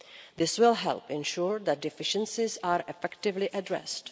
year. This will help ensure that deficiencies are effectively addressed.